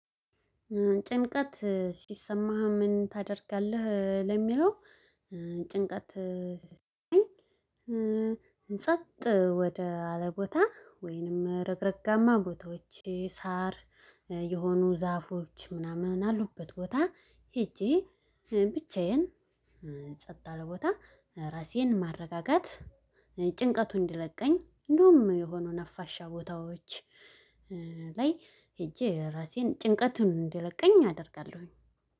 ጭንቀት ሲሰማህ ምን ታደርጋለህ ለሚለው? ጭንቀት እ ጸጥ ወደ አለቦታ ወይንም ረግረጋማ ቦታዎቼ ሳር የሆኑ ዛፎች ምናምን አሉበት ቦታ ሄጄ ብቻዬን ጸጥ አለ ቦታ ራሴን ማረጋጋት ጭንቀቱን እንዲለቀኝ እንደውም የሆኑ ነፋሻ ቦታዎች። ላይ ሄጄ ራሴን ጭንቀቱን እንዲለቀኝ አደርጋለሁኝ።